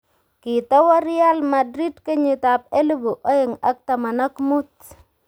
Kitowo Real Madrid kenyitab elebu oeng ak taman ak muut